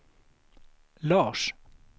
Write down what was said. Lars